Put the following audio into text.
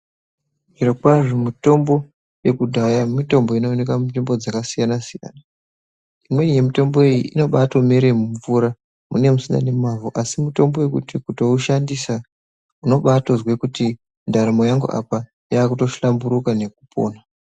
Zviro kwazvo mutombo yekudhaya mitombo ino oneka mu nzvimbo dzaka siyana siyana imweni ye mutombo iyi inotobai mere mu mvura munenge musina ne mavhu asi mitombo yekuti kutoi shandisa unoba tozwe kuti ndaramo yangu apa yakuto hlamburuka nekupona.